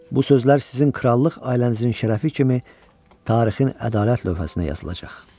Bu sözlər sizin krallıq ailənizin şərəfi kimi tarixin ədalət lövhəsinə yazılacaq.